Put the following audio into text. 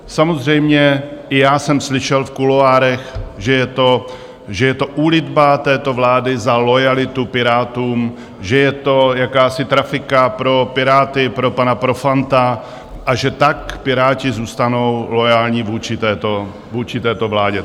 Samozřejmě i já jsem slyšel v kuloárech, že je to úlitba této vlády za loajalitu Pirátům, že je to jakási trafika pro Piráty, pro pana Profanta, a že tak Piráti zůstanou loajální vůči této vládě.